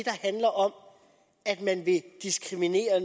handler om at man vil diskriminere